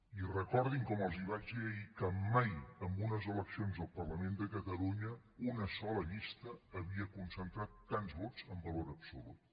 i recordin com els vaig dir ahir que mai en unes eleccions al parlament de catalunya una sola llista havia concentrat tants vots en valor absolut